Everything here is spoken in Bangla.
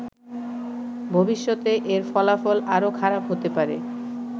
ভবিষ্যতে এর ফলাফল আরো খারাপ হতে পারে।